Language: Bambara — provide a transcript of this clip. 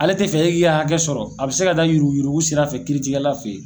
Ale tɛ fɛ e k'i ka hakɛ sɔrɔ, a bi se ka taa yurugu sira fɛ kiiritigɛla fɛ yen.